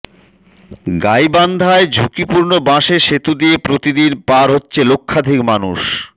গাইবান্ধায় ঝুঁকিপূর্ণ বাঁশের সেতু দিয়ে প্রতিদিন পার হচ্ছে লক্ষাধিক মানুষ